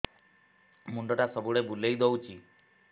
ମୁଣ୍ଡଟା ସବୁବେଳେ ବୁଲେଇ ଦଉଛି